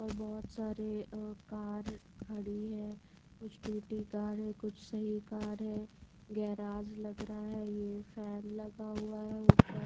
और बहोत सारे अ कार खड़ी है कुछ टूटी कार है कुछ सही कार है गैराज लग रहा है ये फॅन लगा हुआ ऊपर --